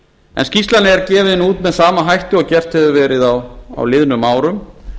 en skýrslan er gefin út með sama hætti og gert hefur verið á liðnum árum